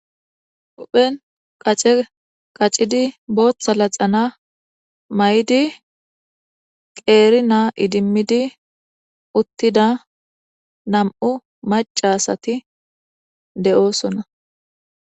Hu'en qace qacidi bootha laxana mayidi qeeri na idimidi uttida nam'u maca asati de'osona